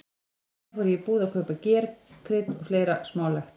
Um daginn fór ég í búð til að kaupa ger, krydd og fleira smálegt.